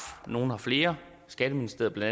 nogle har flere skatteministeriet bla